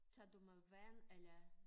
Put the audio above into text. Tager du med vand eller